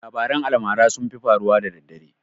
Labaran almara sun fi faruwa daddare